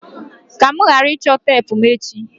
ka mụ ghara ịchọ teepu mụ echi!